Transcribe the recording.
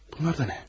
Bunlar da nə?